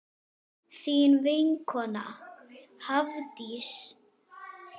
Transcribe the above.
Þín vinkona Hafdís.